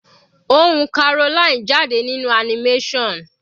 Ohùn Caroline jáde nínú animation.